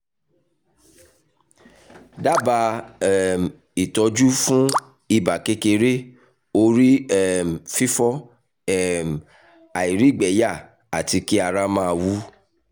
dábàá um ìtọ́jú fún ibà kékeré orí um fífọ́ um àìrígbẹyà àti kí ara máa wú